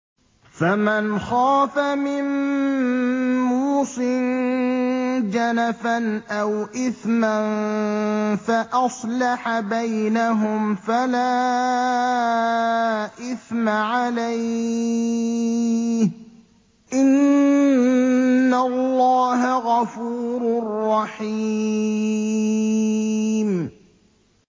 فَمَنْ خَافَ مِن مُّوصٍ جَنَفًا أَوْ إِثْمًا فَأَصْلَحَ بَيْنَهُمْ فَلَا إِثْمَ عَلَيْهِ ۚ إِنَّ اللَّهَ غَفُورٌ رَّحِيمٌ